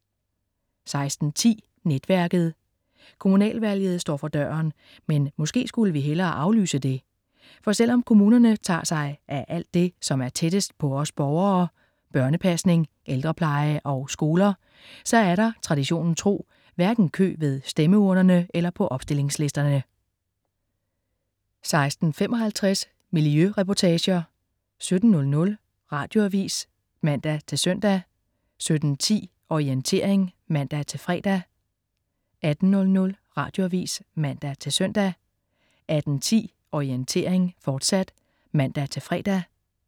16.10 Netværket. Kommunalvalget står for døren, men måske skulle vi hellere aflyse det. For selv om kommunerne tager sig af alt det, som er tættest på os borgere, børnepasning, ældrepleje og skoler, så er der, traditionen tro, hverken kø ved stemmeurnerne eller på opstillingslisterne 16.55 Miljøreportager 17.00 Radioavis (man-søn) 17.10 Orientering (man-fre) 18.00 Radioavis (man-søn) 18.10 Orientering, fortsat (man-fre)